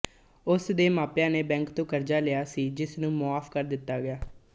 ਉਸ ਦੇ ਮਾਪਿਆਂ ਨੇ ਬੈਂਕ ਤੋਂ ਕਰਜ਼ਾ ਲਿਆ ਸੀ ਜਿਸ ਨੂੰ ਮੁਆਫ਼ ਕਰ ਦਿੱਤਾ ਗਿਆ